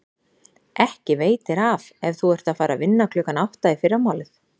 Ekki veitir af ef þú ert að fara að vinna klukkan átta í fyrramálið.